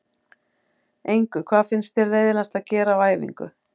Engu Hvað finnst þér leiðinlegast að gera á æfingu?